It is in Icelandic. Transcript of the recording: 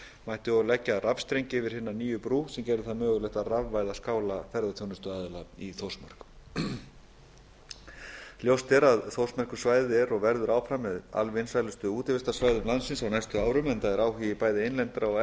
mætti og leggja rafstreng yfir hina nýju brú sem gerði það mögulegt að rafvæða skála ferðaþjónustuaðila í þórsmörk ljóst er að þórsmerkursvæðið er og verður áfram með alvinsælustu útivistarsvæðum landsins á næstu árum enda er áhugi bæði innlendra og